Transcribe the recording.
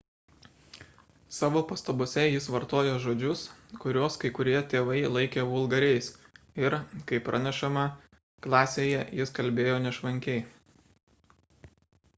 savo pastabose jis vartojo žodžius kuriuos kai kurie tėvai laikė vulgariais ir kaip pranešama klasėje jis kalbėjo nešvankiai